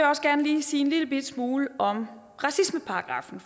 også gerne lige sige en lillebitte smule om racismeparagraffen